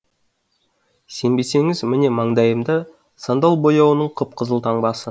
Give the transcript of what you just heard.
сенбесеңіз міне маңдайымда сандал бояуының қып қызыл таңбасы